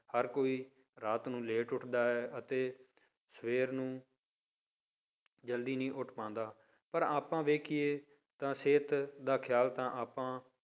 ਹਰ ਕੋਈ ਰਾਤ ਨੂੰ late ਉੱਠਦਾ ਹੈ ਅਤੇ ਸਵੇਰ ਨੂੰ ਜ਼ਲਦੀ ਨਹੀਂ ਉੱਠ ਪਾਉਂਦਾ ਪਰ ਆਪਾਂ ਵੇਖੀਏ ਤਾਂ ਸਿਹਤ ਦਾ ਖ਼ਿਆਲ ਤਾਂ ਆਪਾਂ